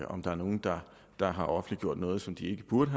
om der er nogen der der har offentliggjort noget som de ikke burde